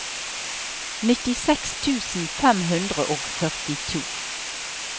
nittiseks tusen fem hundre og førtito